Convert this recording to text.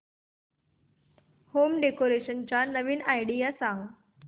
home decoration च्या नवीन idea सांग